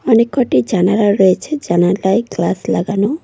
অনেক কটি জানালা রয়েছে জানালায় গ্লাস লাগানো।